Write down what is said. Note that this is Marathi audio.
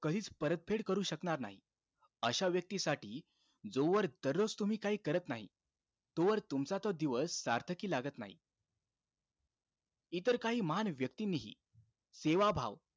कधीच परतफेड करू शकणार नाही, अशा व्यक्तीसाठी जोवर दररोज तुम्ही काही करत नाही, तोवर तुमचा तो दिवस सार्थकी लागत नाही.